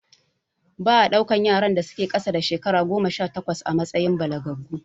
Ba a ɗaukan yaran da su ke ƙasa da shekara goma sha takwas a matsayin balagaggu